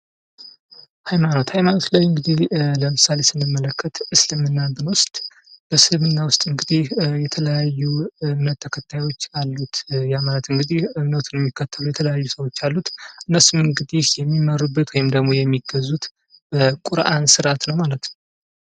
ሃይማኖታዊ ላይ እንግዲህ ለምሳሌ ስንመለከት እስልምና ብንወስድ ፤ በእስልምና ውስጥ እንግዲህ የተለያዩ እምነት ተከታዮች አሉት ያ ማለት እንግዲህ እምነቱን የሚከተሉት የተለያዩ ሰዎች አሉት። እነሱም እንግዲህ የሚማሩበት ወይም ደግሞ የሚገዙት በቁርአን ስርዓት ማለት ነው።